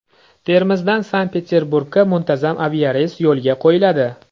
Termizdan Sankt-Peterburgga muntazam aviareys yo‘lga qo‘yiladi.